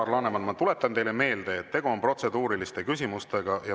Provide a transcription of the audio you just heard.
Alar Laneman, ma tuletan teile meelde, et tegu on protseduuriliste küsimustega.